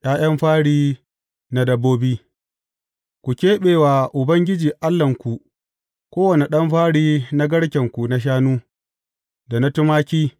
’Ya’yan fari na dabbobi Ku keɓe wa Ubangiji Allahnku kowane ɗan fari na garkenku na shanu, da na tumaki.